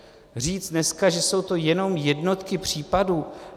Říct dneska, že jsou to jenom jednotky případů.